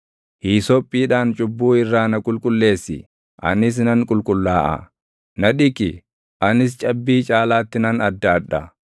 Hiisophiidhaan cubbuu irraa na qulqulleessi; anis nan qulqullaaʼa; na dhiqi; anis cabbii caalaatti nan addaadha.